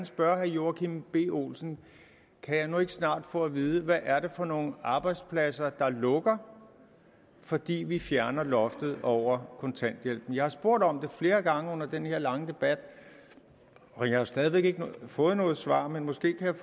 spørge herre joachim b olsen kan jeg nu ikke snart få at vide hvad det er for nogle arbejdspladser der lukker fordi vi fjerner loftet over kontanthjælpen jeg har spurgt om det flere gange under den her lange debat og jeg har stadig væk ikke fået noget svar men måske kan